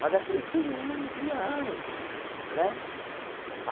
Mas aquilo foi anos, e anos né.